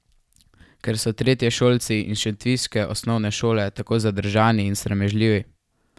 Ker so tretješolci iz šentviške osnovne šole tako zadržani in sramežljivi?